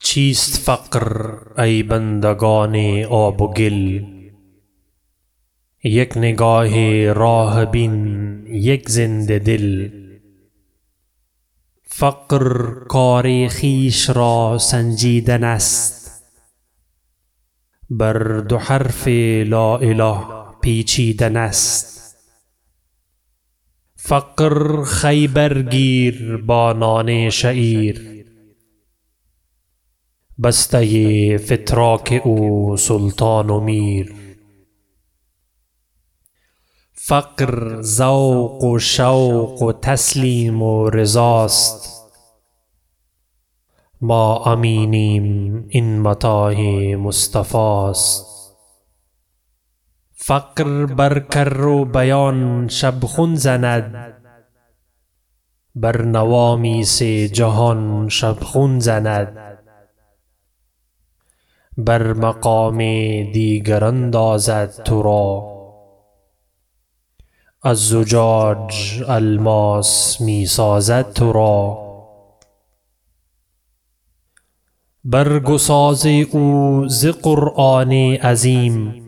چیست فقر ای بندگان آب و گل یک نگاه راه بین یک زنده دل فقر کار خویش را سنجیدن است بر دو حرف لا اله پیچیدن است فقر خیبر گیر با نان شعیر بسته فتراک او سلطان و میر فقر ذوق و شوق و تسلیم و رضاست ما امینیم این متاع مصطفی است فقر بر کروبیان شبخون زند بر نوامیس جهان شبخون زند بر مقام دیگر اندازد ترا از زجاج الماس می سازد ترا برگ و ساز او ز قرآن عظیم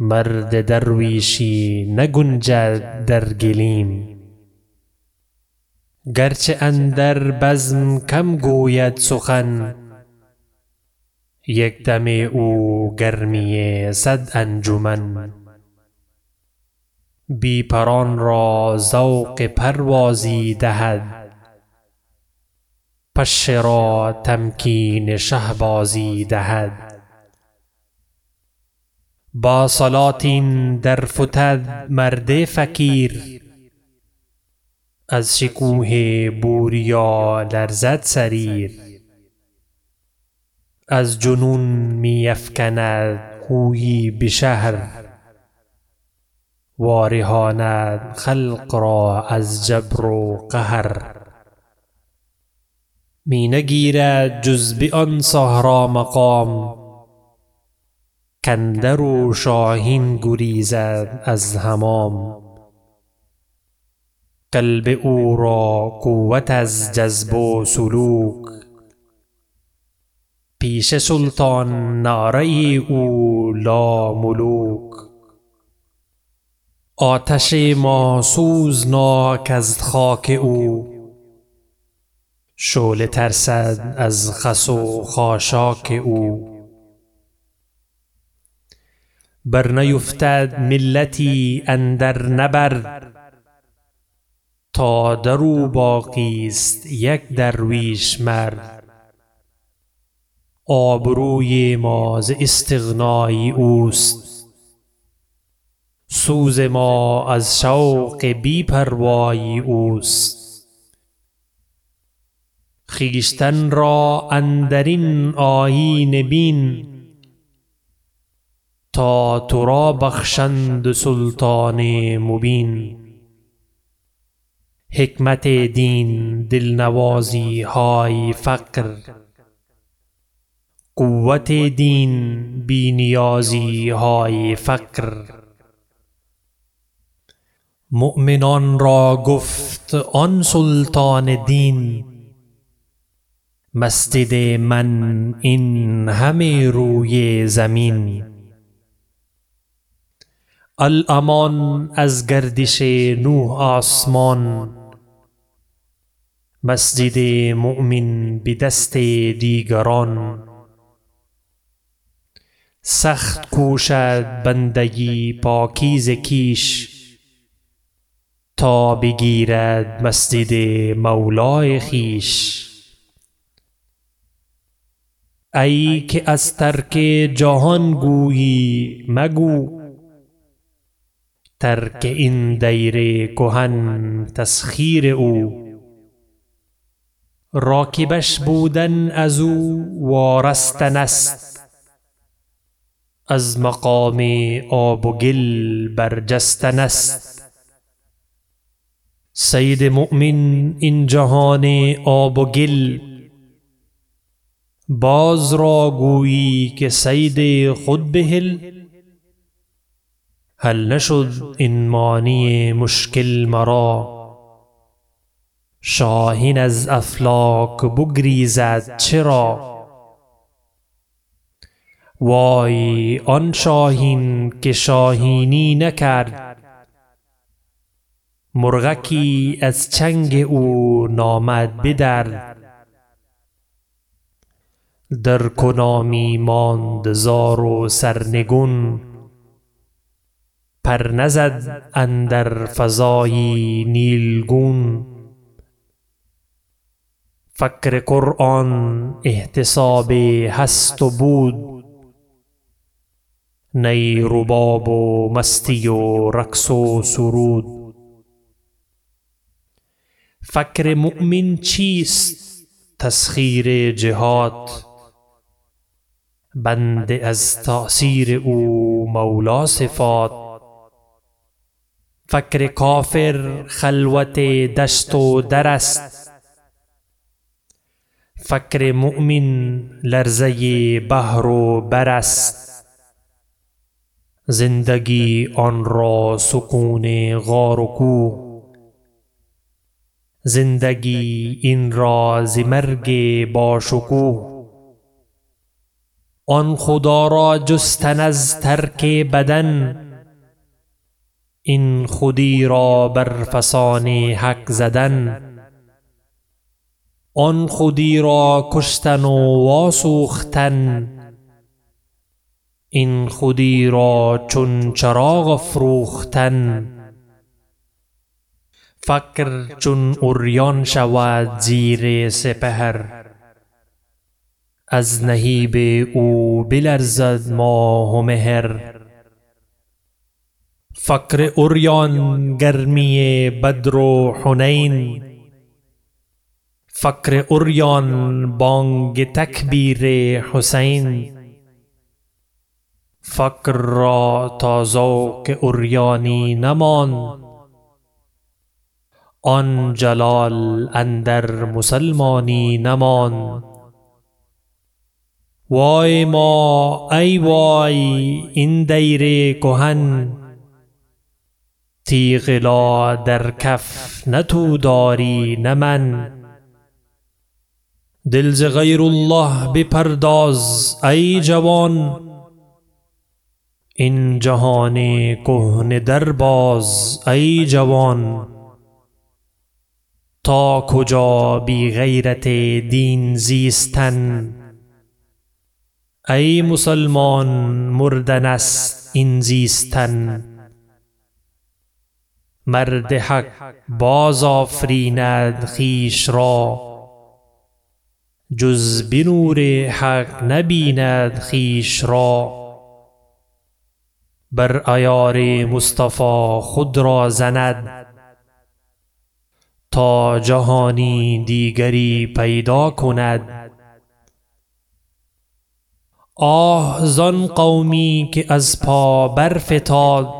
مرد درویشی نگنجد در گلیم گرچه اندر بزم کم گوید سخن یک دم او گرمی صد انجمن بی پران را ذوق پروازی دهد پشه را تمکین شهبازی دهد با سلاطین در فتد مرد فقیر از شکوه بوریا لرزد سریر از جنون می افکند هویی به شهر وا رهاند خلق را از جبر و قهر می نگیرد جز به آن صحرا مقام کاندرو شاهین گریزد از حمام قلب او را قوت از جذب و سلوک پیش سلطان نعره او لاملوک آتش ما سوزناک از خاک او شعله ترسد از خس و خاشاک او بر نیفتد ملتی اندر نبرد تا درو باقیست یک درویش مرد آبروی ما ز استغنای اوست سوز ما از شوق بی پروای اوست خویشتن را اندر این آیینه بین تا ترا بخشند سلطان مبین حکمت دین دل نوازیهای فقر قوت دین بی نیازیهای فقر مؤمنان را گفت آن سلطان دین مسجد من این همه روی زمین الامان از گردش نه آسمان مسجد مؤمن بدست دیگران سخت کوشد بنده پاکیزه کیش تا بگیرد مسجد مولای خویش ایکه از ترک جهان گویی مگو ترک این دیر کهن تسخیر او راکبش بودن ازو وارستن است از مقام آب و گل برجستن است صید مؤمن این جهان آب و گل باز را گویی که صید خود بهل حل نشد این معنی مشکل مرا شاهین از افلاک بگریزد چرا وای آن شاهین که شاهینی نکرد مرغکی از چنگ او نامد بدرد درکنامی ماند زار و سرنگون پر نزد اندر فضای نیلگون فقر قرآن احتساب هست و بود نی رباب و مستی و رقص و سرود فقر مؤمن چیست تسخیر جهات بنده از تأثیر او مولا صفات فقر کافر خلوت دشت و در است فقر مؤمن لرزه بحر و بر است زندگی آنرا سکون غار و کوه زندگی این را ز مرگ باشکوه آن خدارا جستن از ترک بدن این خودی را بر فسان حق زدن آن خودی را کشتن و وا سوختن این خودی را چون چراغ افروختن فقر چون عریان شود زیر سپهر از نهیب او بلرزد ماه و مهر فقر عریان گرمی بدر و حنین فقر عریان بانگ تکبیر حسین فقر را تا ذوق عریانی نماند آن جلال اندر مسلمانی نماند وای ما ای وای این دیر کهن تیغ لا در کف نه تو داری نه من دل ز غیر الله بپرداز ایجوان این جهان کهنه در باز ایجوان تا کجا بی غیرت دین زیستن ای مسلمان مردن است این زیستن مرد حق باز آفریند خویش را جز به نور حق نبیند خویش را بر عیار مصطفی خود را زند تا جهانی دیگری پیدا کند آه زان قومی که از پا برفتاد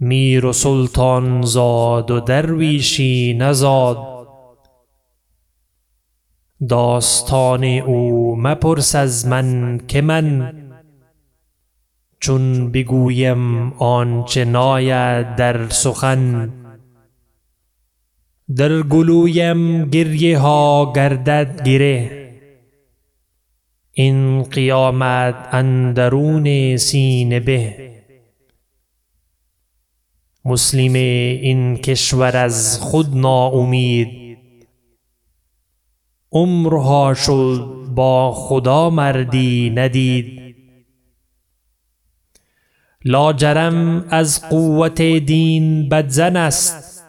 میر و سلطان زاد و درویشی نزاد داستان او مپرس از من که من چون بگویم آنچه ناید در سخن در گلویم گریه ها گردد گره این قیامت اندرون سینه به مسلم این کشور از خود ناامید عمر ها شد با خدا مردی ندید لاجرم از قوت دین بدظن است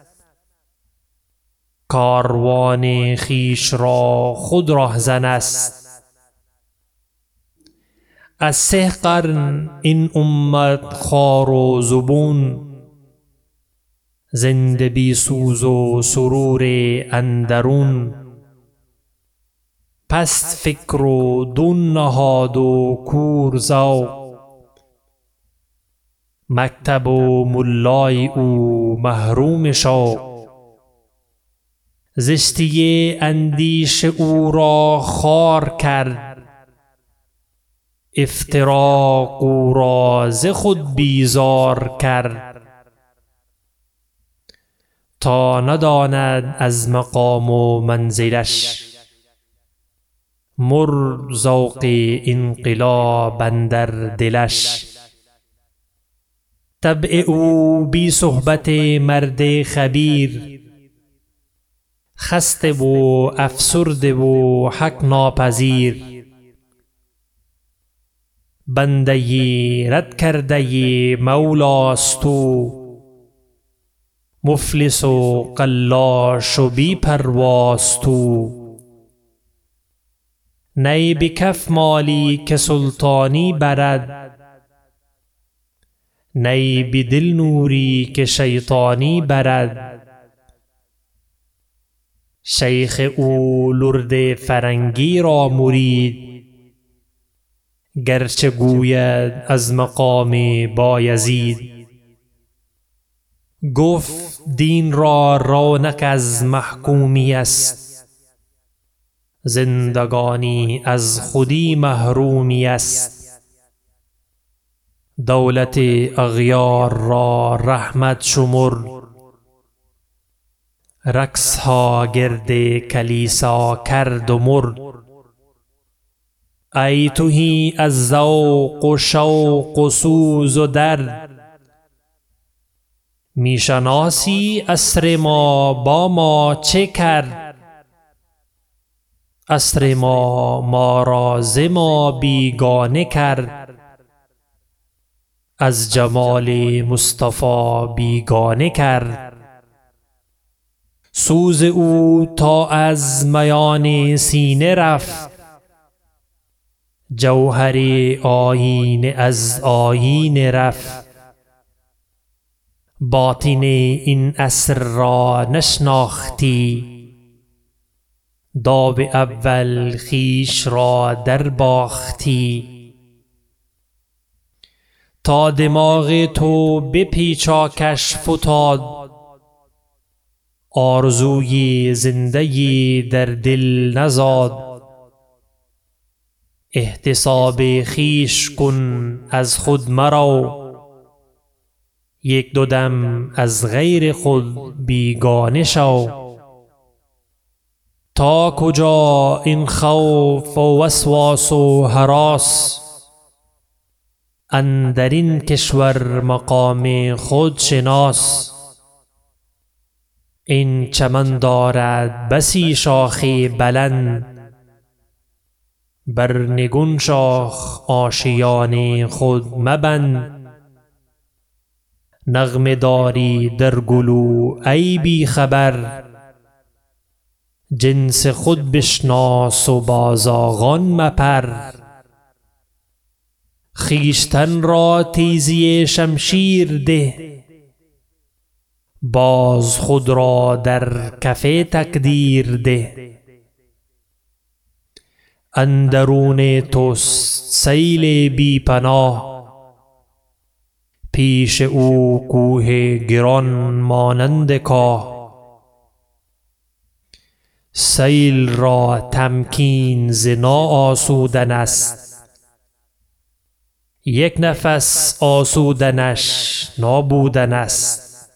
کاروان خویش را خود رهزن است از سه قرن این امت خوار و زبون زنده بی سوز و سرور اندرون پست فکر و دون نهاد و کور ذوق مکتب و ملای او محروم شوق زشتی اندیشه او را خوار کرد افتراق او را ز خود بیزار کرد تا نداند از مقام و منزلش مرد ذوق انقلاب اندر دلش طبع او بی صحبت مرد خبیر خسته و افسرده و حق ناپذیر بنده رد کرده مولاست او مفلس و قلاش و بی پرواست او نی بکف مالی که سلطانی برد نی بدل نوری که شیطانی برد شیخ او لرد فرنگی را مرید گرچه گوید از مقام با یزید گفت دین را رونق از محکومی است زندگانی از خودی محرومی است دولت اغیار را رحمت شمرد رقص ها گرد کلیسا کرد و مرد ای تهی از ذوق و شوق و سوز و درد می شناسی عصر ما با ما چه کرد عصر ما ما را ز ما بیگانه کرد از جمال مصطفی بیگانه کرد سوز او تا از میان سینه رفت جوهر آیینه از آیینه رفت باطن این عصر را نشناختی داو اول خویش را در باختی تا دماغ تو به پیچاکش فتاد آرزوی زنده یی در دل نزاد احتساب خویش کن از خود مرو یکدو دم از غیر خود بیگانه شو تا کجا این خوف و وسواس و هراس اندر این کشور مقام خود شناس این چمن دارد بسی شاخ بلند بر نگون شاخ آشیان خود مبند نغمه داری در گلو ای بیخبر جنس خود بشناس و با زاغان مپر خویشتن را تیزی شمشیر ده باز خود را در کف تقدیر ده اندرون تست سیل بی پناه پیش او کوه گران مانند کاه سیل را تمکین ز نا آسودن است یک نفس آسودنش نابودن است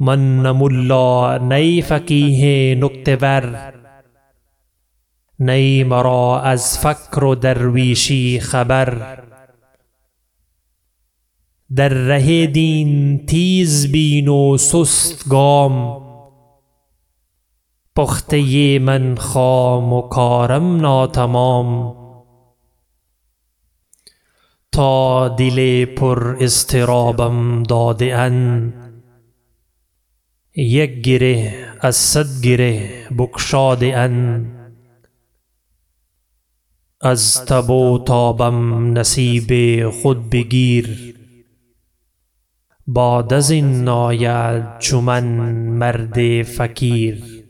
من نه ملا نی فقیه نکته ور نی مرا از فقر و درویشی خبر در ره دین تیز بین و سست گام پخته من خام و کارم ناتمام تا دل پر اضطرابم داده اند یک گره از صد گره بگشاده اند از تب و تابم نصیب خود بگیر بعد ازین ناید چو من مرد فقیر